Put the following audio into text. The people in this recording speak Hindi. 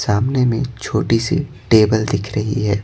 सामने में छोटी सी टेबल दिख रही है।